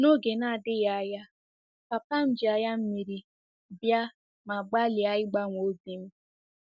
N'oge na-adịghị anya, papa m ji anya mmiri bịa ma gbalịa ịgbanwe obi m.